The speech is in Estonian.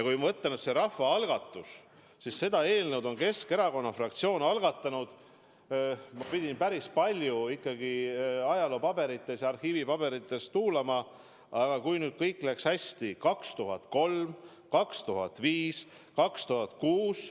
Kui me mõtleme, siis rahvaalgatuse eelnõu on Keskerakonna fraktsioon algatanud – ma pidin päris palju ajaloopaberites ja arhiivipaberites tuulama, aga loodan, et kõik läks hästi – aastail 2003, 2005 ja 2006.